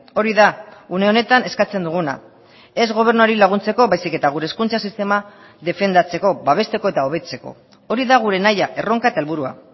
hori da une honetan eskatzen duguna ez gobernuari laguntzeko baizik eta gure hezkuntza sistema defendatzeko babesteko eta hobetzeko hori da gure nahia erronka eta helburua